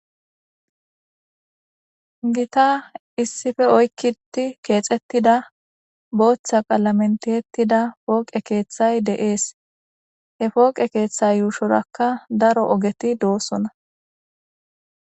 Gita issipe oykidi kexetida botha qalamen kexetida poqe kethay de'es he poqe ketha yushorakka daro ogeti dosona